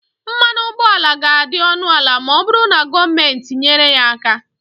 mmanụ ụgbọala ga-adị ọnụ ala ma ọ bụrụ na gọọmenti nyere ya aka